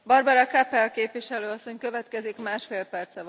Frau Präsidentin, Frau Ministerin, Herr Kommissar!